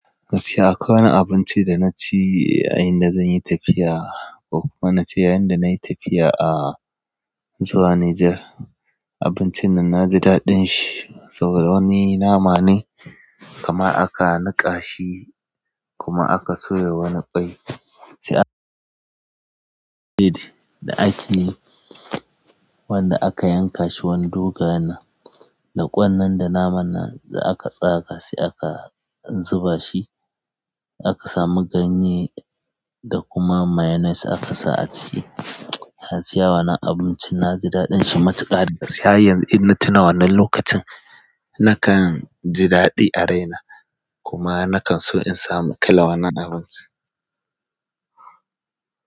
Gaskiya akwai wani abinci da na ci a inda zanyi tafiya ko kuma nace yayin da nayi tafiya a zuwa Nijar. Abincin nan na ji daɗin shi saboda wani nama ne kamar aka nika shi kuma aka soya wani ƙwai da ake yi, wanda aka yanka shi wani dogayen nan, da ƙwan nan da naman nan da aka tsaya ka saya ka zuba shi. Aka samu ganye da kuma mayonnaise aka sa a ci. Gaskiya wannan abincin na ji daɗin shi matuƙa gaskiya har yanzu in na tuna wannan lokacin, nakan ji daɗi a raina kuma nakan so in samu kalar wannan abinci.